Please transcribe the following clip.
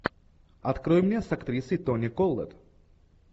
открой мне с актрисой тони коллетт